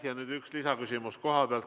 Ja nüüd üks lisaküsimus kohapealt.